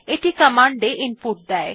এটি কমান্ড এ ইনপুট দেয়